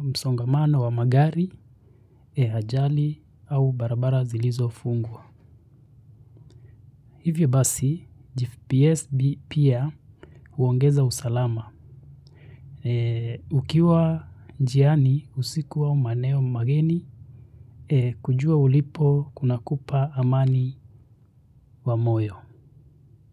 msongamano wa magari, ajali, au barabara zilizo fungwa. Hivyo basi GPS pia huongeza usalama ukiwa njiani usiku au maeneo mageni kujua ulipo kuna kupa amani wa moyo.